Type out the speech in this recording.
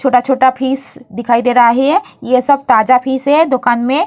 छोटा छोटा फिश दिखाई दे रहा है ये सब तजा फिश है दोकान में।